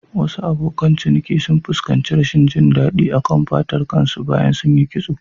Wasu abokan ciniki sun fuskanci rashin jin daɗi a kan fatar kan su bayan sunyi kitso.